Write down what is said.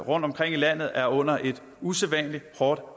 rundtomkring i landet er underlagt et usædvanlig hårdt